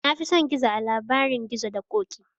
Na fi son gizo a labarin gizo da ƙoƙi